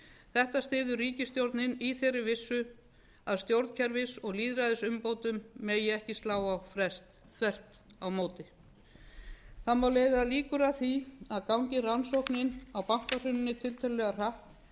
þetta styður ríkisstjórnin í þeirri vissu að stjórnkerfis og lýðræðisumbótum megi ekki slá á frest á móti það má leiða liður að því að gangi rannsóknin á bankahruninu tiltölulega hratt